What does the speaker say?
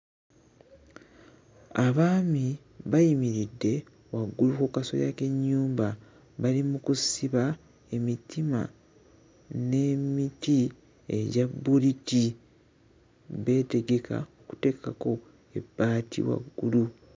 Abaami bayimiridde waggulu ku kasolya k'ennyumba bali mu kusiba emitima n'emiti egya bbuliti beetegeka kuteekako ebbaati waggulu.